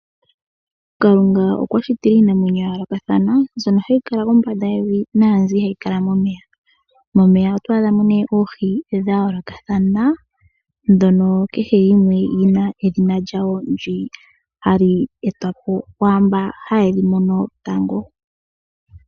Kalunga okwa shitile iinamwenyo ya yoolokathana mbyono hayi kala kombanda yevi naa mbyono hayi kala momeya. Momeya otwaadhamo ne oohi dha yoolokathana ndhono kehe yimwe yi na edhina lyawo ha li etwapo kwaamboka haye dhi mono tango.